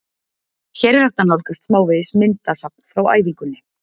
Hér er hægt að nálgast smávegis myndasafn frá æfingunni: